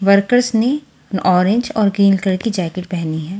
Workers ने orange colour और green colour की जैकेट पेहनी हुई है।